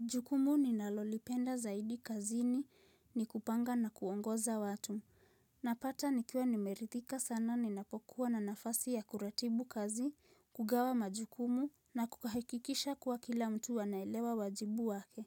Jukumu ninalolipenda zaidi kazini ni kupanga na kuongoza watu. Napata nikiwa nimeridhika sana ninapokuwa na nafasi ya kuratibu kazi, kugawa majukumu na kukahikikisha kuwa kila mtu anaelewa wajibu wake.